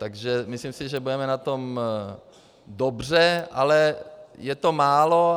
Takže myslím si, že budeme na tom dobře, ale je to málo.